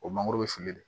O mangoro bɛ fili de